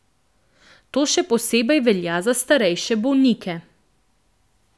To še posebej velja za starejše bolnike.